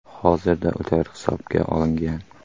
Hozirda ular hibsga olingan.